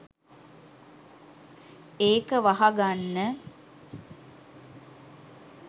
ඒක වහගන්න